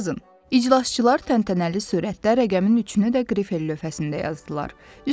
İclasçılar təntənəli sürətdə rəqəmin üçünü də grifil lövhəsində yazdılar.